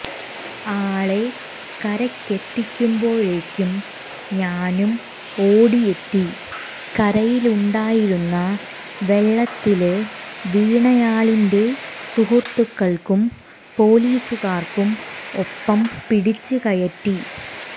ആളെ കരയ്ക്കെത്തിക്കുമ്പോഴേയ്ക്കും ഞാനും ഓടിയെത്തി കരയിലുണ്ടായിരുന്ന വെള്ളത്തില് വീണയാളിന്റെ സുഹുത്തുക്കള്ക്കും പോലീസുകാര്ക്കും ഒപ്പം പിടിച്ച് കയറ്റി